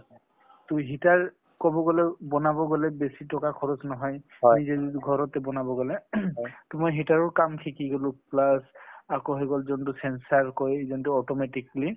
টো heater কব গলে বনাব গলে বেছি টকা খৰচ নহয় , নিজে যদি ঘৰতে বনাব গলে টো মই heater ৰ কাম শিকি গলো plus আকৌ হৈ গল যোনটো sense কয় যোনটো automatically